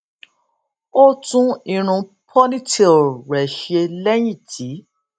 ó tún irun ponytail rẹ ṣe lẹyìn tí